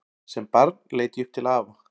Sem barn leit ég upp til afa.